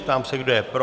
Ptám se, kdo je pro.